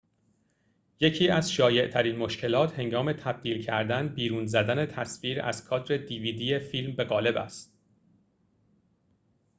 یکی از شایع‌ترین مشکلات هنگام تبدیل کردن فیلم به قالب dvd بیرون زدن تصویر از کادر است